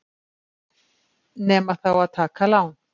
Nema þá að taka lán.